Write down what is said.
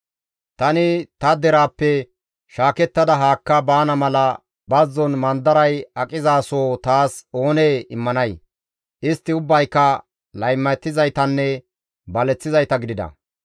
Tani ta deraappe shaakettada haakka baana mala bazzon mandaray aqizasoho taas oonee immanay! Istti ubbayka laymatizaytanne baleththizayta gidida.